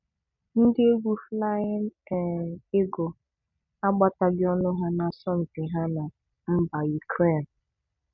Ndị egwu Flying um Eagle a gbataghị ọ́nụ́ ha n'asọmụmpi ha na mba Ukraine